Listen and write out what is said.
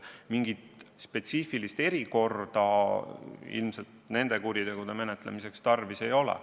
Mingit spetsiifilist erikorda ilmselt nende kuritegude menetlemiseks tarvis ei ole.